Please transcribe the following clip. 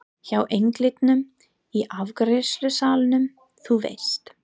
Hjá englinum í afgreiðslusalnum, þú veist.